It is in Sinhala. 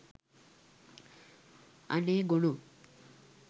අනේ ගොනෝ.